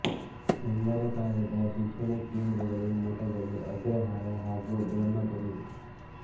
ಗಂಗರ ಕಾಲದ ಶಿಕ್ಷಣ ಕೇಂದ್ರಗಳು ಮಠಗಳು ಅಗ್ರಹಾರ ಹಾಗೂ ಬ್ರಹ್ಮಪುರಿ